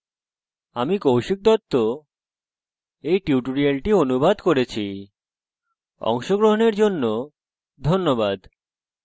আমি কৌশিক দত্ত এই টিউটোরিয়ালটি অনুবাদ করেছি অংশগ্রহনের জন্য ধন্যবাদ